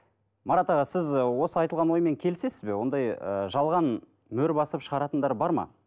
марат аға сіз осы айтылған оймен келісесіз бе ондай ы жалған мөр басып шығаратындар бар ма